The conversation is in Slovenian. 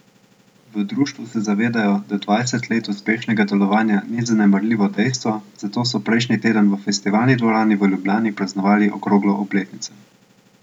V društvu se zavedajo, da dvajset let uspešnega delovanja ni zanemarljivo dejstvo, zato so prejšnji teden v Festivalni dvorani v Ljubljani praznovali okroglo obletnico.